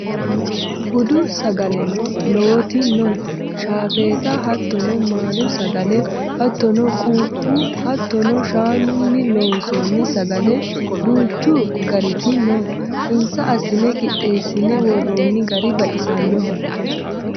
Budu sagaleno lowoti no shaafetta hattono maali sagale hattono quuphu hatto shaanuni loonsonni sagale duuchu gariti no insa assine qixxeessine worooni gari baxisanoho.